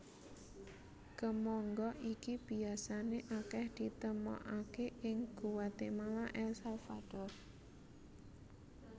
Kemangga iki biasané akèh ditemokaké ing Guatemala El Salvador